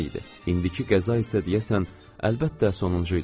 İndiki qəza isə deyəsən əlbəttə sonuncu idi.